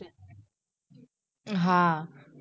હા.